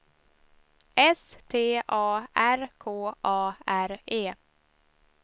S T A R K A R E